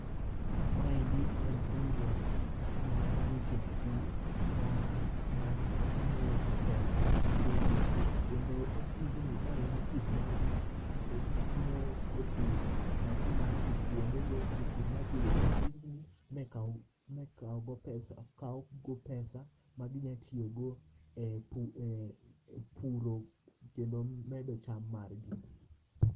Ma endi en riwruok mar weche pur ma ngiyo weche fedha ne jopur kendo ofisni ma en office mar gi miyo jopur nafuu mar dhi kwonde go, jopur nyalo dhi e office ni mi kaw go pesa ma gi nyalo tiyo go e puro kendo medo cham gi.